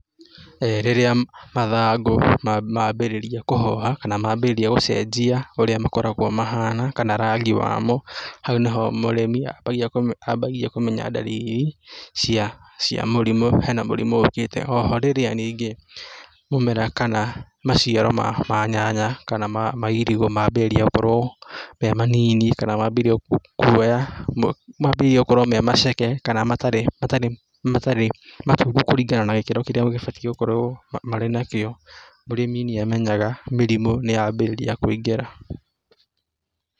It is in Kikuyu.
Rĩrĩa mathangũ mambĩrĩria kũhoha kana mambĩrĩria gũcenjia ũrĩa makoragwo mahana kana rangi wamo hau nĩyo mũrĩmi ambagia ambagia kũmenya ndariri cia cia mũrimũ hena mũrimũ ũkĩte oho rĩrĩa ningĩ mũmera kana maciaro ma nyanya kana ma irigũ mambĩrĩria gũkorwo memanini kana mambĩrĩria kwoya ,mambĩrĩria gũkorwo me maceke kana matarĩ matarĩ matungu kũringana na gĩkĩro kĩrĩa gĩbatio gũkorwo marĩ nakĩo mũrĩmi nĩ amenyaga mĩrimũ nĩ ya njĩrĩria kũingĩra.